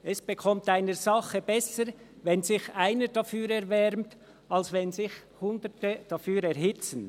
«Es bekommt einer Sache besser, wenn sich einer dafür erwärmt, als wenn sich hundert dafür erhitzen.»